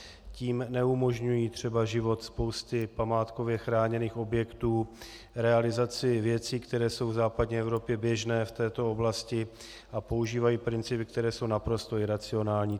Tím neumožňují třeba život spousty památkově chráněných objektů, realizaci věcí, které jsou v západní Evropě běžné v této oblasti, a používají principy, které jsou naprosto iracionální.